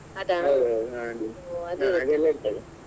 ಹೌದು ಹೌದು .